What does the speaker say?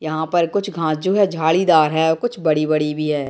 यहाँ पर कुछ घास जो है झालीदार हैं कुछ बड़ी-बड़ी भी हैं।